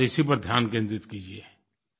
बस इसी पर ध्यान केंद्रित कीजिए